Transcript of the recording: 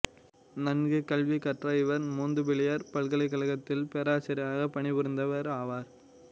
நன்கு கல்வி கற்ற இவர் மோந்துபேலியர் பல்கலைக்கழகத்தில் பேராசிரியராக பணிபுரிந்தவர் ஆவார்